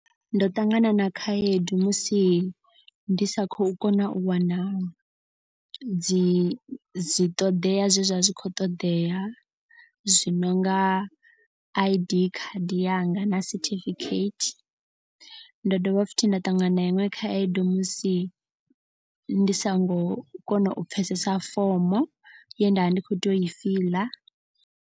Ndo ṱangana na khaedu musi ndi sa khou kona u wana dzi dzi ṱoḓea zwe zwa vha zwi khou ṱoḓea. Zwi nonga I_D khadi yanga na certificate. Ndo dovha futhi nda ṱangana na iṅwe khaedu musi ndi songo kona u pfhesesa fomo ye ndavha ndi kho tea u i fiḽa.